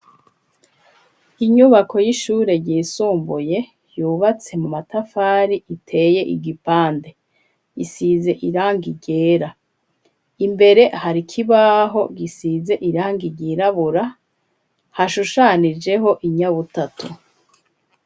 Inyubako y'ishure ryisumbuye, yubatse mu matafari, iteye igipande; isize irangi ryera; imbere, hari ikibaho, gisize irangi ryirabura, hashushanijeho, inyabutatu.